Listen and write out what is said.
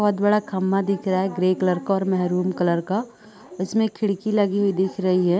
बहोत बड़ा खम्बा दिख रहा है ग्रे कलर मेहरून कलर का इसमें एक खिड़की लगी हुई दिख रही है।